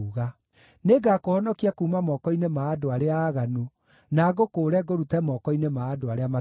“Nĩngakũhonokia kuuma moko-inĩ ma andũ arĩa aaganu, na ngũkũũre ngũrute moko-inĩ ma andũ arĩa matarĩ tha.”